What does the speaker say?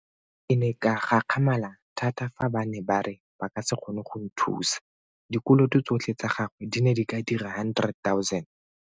Ke ne ka gakgamala thata fa ba ne ba re ba ka se kgone go nthusa. Dikoloto tsotlhe tsa gagwe di ne di ka dira 100 000.